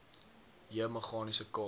j meganiese k